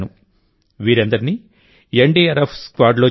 వీరందరినీ ఎన్డీఆర్ఎఫ్ స్క్వాడ్లో చేర్చారు